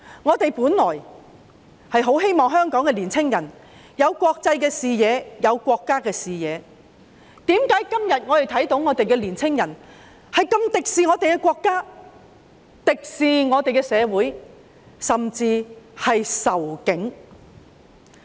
我們本來希望香港的年青人可以有國際視野、有國家的視野，但為何本港的年青人今天竟如此敵視我們的國家、社會，甚至仇警？